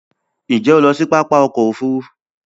Nje o lo si papa oko ofu